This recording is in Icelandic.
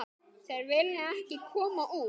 Þeir vilja ekki koma út.